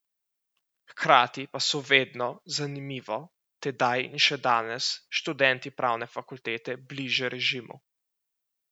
Hkrati pa so vedno, zanimivo, tedaj in še danes, študenti pravne fakultete bliže režimu.